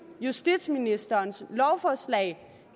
justitsministerens lovforslag